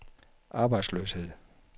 arbejdsløshed